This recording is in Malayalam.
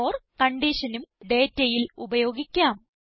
ഓർ കൺഡീഷനും ഡേറ്റയിൽ ഉപയോഗിക്കാം